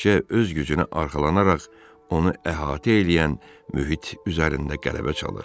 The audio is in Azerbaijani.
Təkcə öz gücünə arxalanaraq onu əhatə eləyən mühit üzərində qələbə çalır.